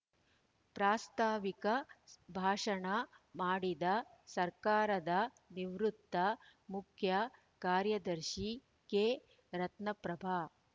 ಪ್ರಾಸ್ತಾವಿಕ ಭಾಷಣ ಮಾಡಿದ ಸರ್ಕಾರದ ನಿವೃತ್ತ ಮುಖ್ಯ ಕಾರ್ಯದರ್ಶಿ ಕೆ ರತ್ನಪ್ರಭಾ